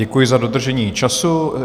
Děkuji za dodržení času.